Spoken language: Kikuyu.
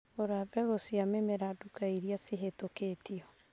Gũra mbegu na mĩmera duka iria cihĩtũkĩtio.